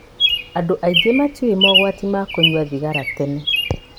Andũ aingĩ matiũĩ mogwati ma kũnyua thigara tene.